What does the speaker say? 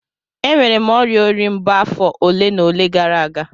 Enwere m ọrịa ori mbo afọ ole na ole gara aga